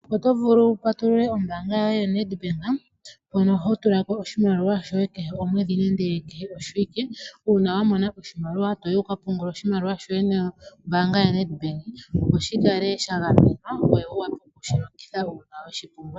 Otovulu wu patulule ombaanga yoye yo Nedbank ,mono hotulako oshimaliwa shoye kehe momwedhi nande kehe oshiwike. Uuna wamona oshimaliwa toyi wukapungule oshimaliwa shoye nombaanga yo Nedbank sho shikale sha gamenwa ngoye wu wape okushilongitha uuna weshipumbwa.